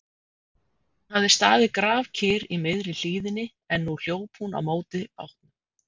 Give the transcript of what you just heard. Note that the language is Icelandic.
Hún hafði staðið grafkyrr í miðri hlíðinni en nú hljóp hún á móti bátnum.